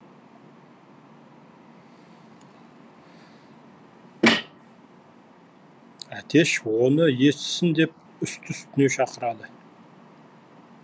әтеш оны естісін деп үсті үстіне шақырады